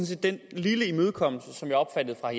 set den lille imødekommelse som jeg opfattede fra